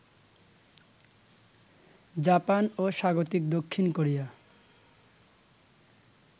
Japan ও স্বাগতিক দক্ষিণ কোরিয়া